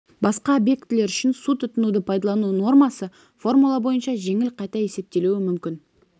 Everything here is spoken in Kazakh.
басқа объектілер үшін су тұтынуды пайдалану нормасы формула бойынша жеңіл қайта есептелуі мүмкін